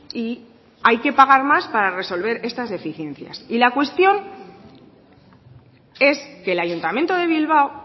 y hay que pagar más para resolver estas deficiencias y la cuestión es que el ayuntamiento de bilbao